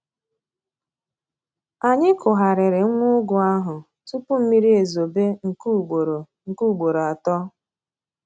Anyị kugharịrị nwa ụgụ ahụ tupu mmiri ezobe nke ugboro nke ugboro atọ